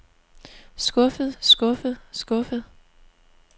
skuffet skuffet skuffet